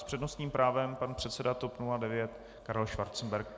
S přednostním právem pan předseda TOP 09 Karel Schwarzenberg.